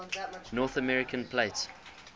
north american plate